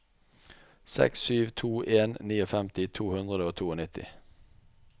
seks sju to en femtini to hundre og nittito